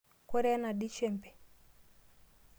Koree enadii shempe?